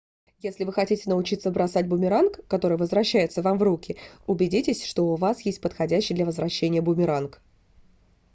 если вы хотите научиться бросать бумеранг который возвращается вам в руки убедитесь что у вас есть подходящий для возвращения бумеранг